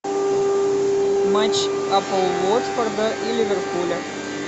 матч апл уотфорда и ливерпуля